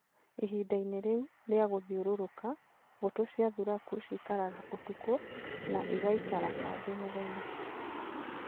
Ihinda-inĩ rĩu rĩa gũthiũrũrũka, mbũtũ cia thuraku cithiaga ũtukũ na igaikara kambĩ mũthenya.